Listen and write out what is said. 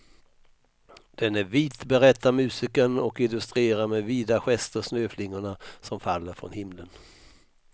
Den är vit, berättar musikern och illustrerar med vida gester snöflingorna som faller från himlen.